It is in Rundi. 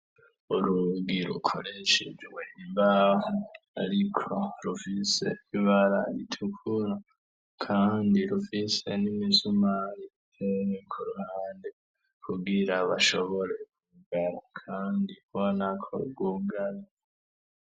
Urugi rukoreshejwe imbaho ariko rufise ibara ritukura kandi rufise n'imisumari minini ku ruhande kugira bashobore kugara kandi ubona ko rwugaye.